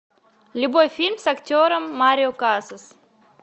любой фильм с актером марио касас